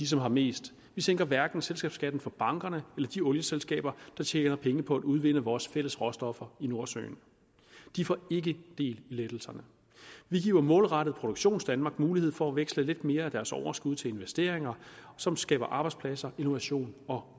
som har mest vi sænker hverken selskabsskatten for bankerne eller de olieselskaber der tjener penge på at udvinde vores fælles råstoffer i nordsøen de får ikke del i lettelserne vi giver målrettet produktionsdanmark mulighed for at veksle lidt mere af deres overskud til investeringer som skaber arbejdspladser innovation og